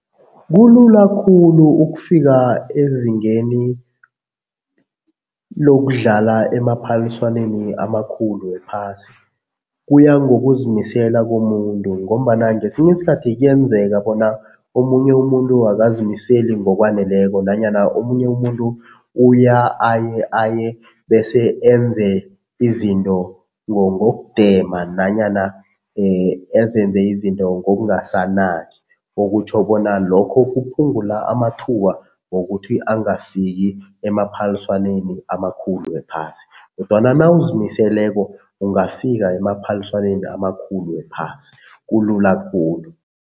Kulula khulu ukufika ezingeni lokudlala emaphaliswaneni amakhulu wephasi. Kuya ngokuzimisela komuntu ngombana ngesinye isikhathi kuyenzeka bona omunye umuntu akazimiseli ngokwaneleko nanyana omunye umuntu uya aye aye bese enze izinto ngokudema nanyana ezenze izinto ngokungasanaki. Okutjho bona lokho kuphungula amathuba wokuthi angakafiki emaphaliswaneni amakhulu wephasi kodwana nawuzimiseleko ungafika emaphaliswaneni amakhulu wephasi, kulula khulu.